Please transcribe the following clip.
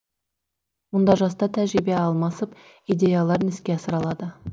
мұнда жастар тәжірибе алмасып идеяларын іске асыра алады